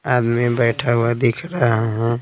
आदमी बैठा हुआ दिख रहा है।